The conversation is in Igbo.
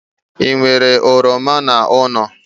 Ị nwere oroma n'ụlọ?